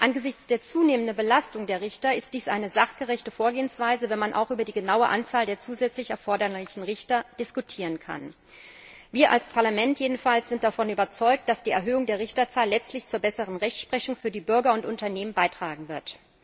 Angesichts der zunehmenden Belastung der Richter ist dies eine sachgerechte Vorgehensweise, wenn man auch über die genaue Anzahl der zusätzlich erforderlichen Richter diskutieren kann. Wir als Parlament jedenfalls sind davon überzeugt, dass die Erhöhung der Richterzahl letztlich zur besseren Rechtsprechung für die Bürger und Unternehmen beitragen wird.